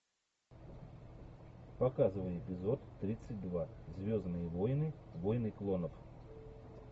показывай эпизод тридцать два звездные войны войны клонов